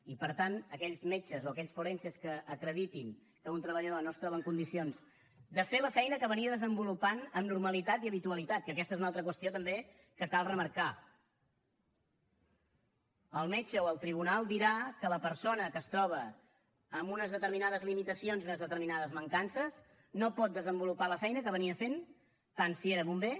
i per tant aquells metges o aquells forenses que acreditin que un treballador no es troba en condicions de fer la feina que havia desenvolupat amb normalitat i habitualitat que aquesta és una altra qüestió també que cal remarcar el metge o el tribunal dirà que la persona que es troba amb unes determinades limitacions i unes determinades mancances no pot desenvolupar la feina que feia tant si era bomber